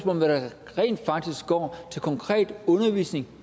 om hvad der rent faktisk går til konkret undervisning